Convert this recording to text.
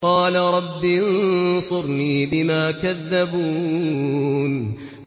قَالَ رَبِّ انصُرْنِي بِمَا كَذَّبُونِ